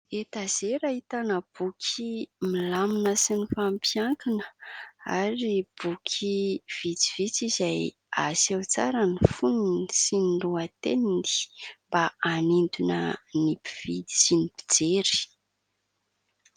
Etazera ahitana boky milamina sy mifampiankina ary boky vitsivitsy izay aseho tsara ny fonony sy ny lohateniny mba hanintona ny mpividy sy ny mpijery.